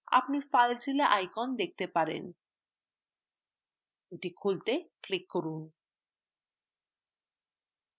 আপনি filezilla icon দেখতে পারেন এটি খুলতে click করুন